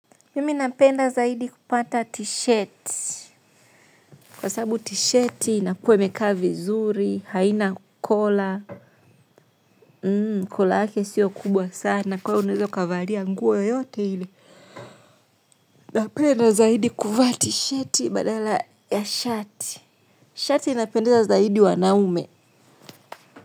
Mimi napenda zaidi kupata t-shirt kwa sababu t-shirt inakuwa imekaa vizuri haina kola kola yake sio kubwa sana kwa hiyo unaweza kavalia nguo yoyote ile napenda zaidi kuvaa t-shirt badala ya shirt shirt inapendeza zaidi wanaume.